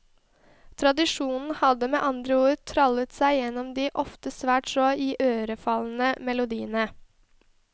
Tradisjonen hadde med andre ord trallet seg igjennom de ofte svært så iørefallende melodiene.